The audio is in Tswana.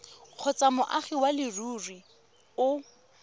kgotsa moagi wa leruri o